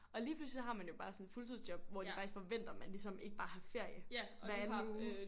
Og lige pludselig så har man jo bare sådan et fuldtidsjob hvor de faktisk forventer man ligesom ikke bare har ferie hver anden uge